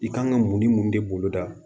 I kan ka mun ni mun de boloda